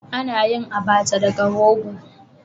Ana yin "Abacha" daga rogo.